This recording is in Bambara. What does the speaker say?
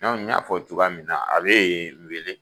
n y'a fɔ cogoya min na a bɛ ye wele.